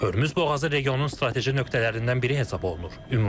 Hörmüz boğazı regionun strateji nöqtələrindən biri hesab olunur.